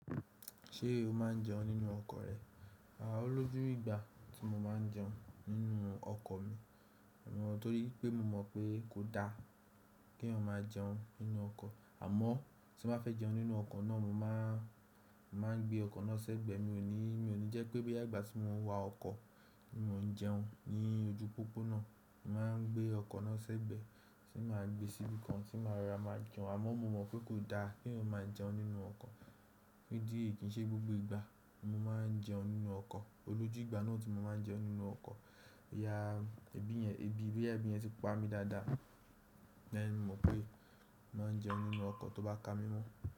Ṣé o máa ń jẹun nínú ọkọ̀ rẹ? Aà, olójú ìgbà tí mo máa ń jẹun nínú ọkọ̀ mi. Nitorí pé mo mọ̀ pé kò da kí èyàn máa jẹun nínú ọkọ̀. Àmọ́ tí mo fẹ́ jẹun nínú ọkọ̀ náà, mo máa, máa gbé ọkọ̀ náà ṣẹ́gbẹ́. Mi ò ní, mi ò ní jẹ́ pé bí àgbà tí mò ń wa ọkọ̀ ni mò ń jẹun ní ojú pópó náà. Mo máa ń gbé ọkọ̀ náà ṣẹ́gbẹ́ tí màá gbé síbi kan tí màá ra máa jẹun. Àmọ́ mo mọ̀ pé kò da kí èyàn máa jẹun nínú ọkọ̀. Ní dí è kí n ṣe gbogbo ìgbà mo máa ń jẹun nínú ọkọ̀. Olójú ìgbà náà tí mo máa ń jẹun nínú ọkọ̀, ìyá, ẹbí yẹn, ẹbí, ìbéyà ẹbí yẹn ti pa mí dada. Lẹ́yìn mo mọ̀ pé má jẹ nínú ọkọ̀ tó bá ka mímú.